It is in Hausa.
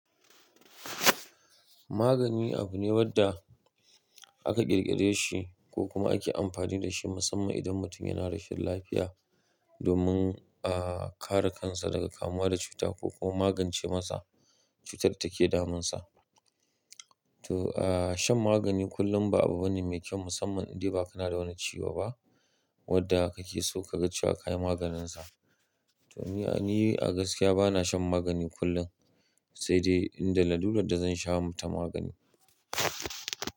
Magani abu ne wanda aka ƙirƙire shi ko kuma ake amfani da shi musamman idan mutum yana rashin lafiya domin kare kansa daga kamuwa da cuta ko kuma magance masa cutar da take damun sa. To, shan magani kullum ba abu bane mai kyau musamman indai ba kana da wani ciwo ba wanda kake so ka ga cewa ka yi maganin sa. To, ni a gaskiya bana shan magani kullum sai dai inda lallurar da zan sha mata magani.